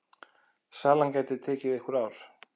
Salan geti tekið einhver ár.